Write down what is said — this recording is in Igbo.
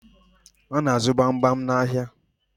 A na-azụ gbamgbam n'ahịa